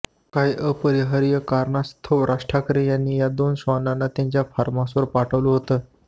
काही अपरिहार्य कारणास्तव राज ठाकरे यांनी या दोन श्वानांना त्यांच्या फार्महाऊसवर पाठवलं होतं